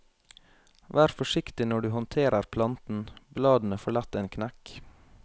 Vær forsiktig når du håndterer planten, bladene får lett en knekk.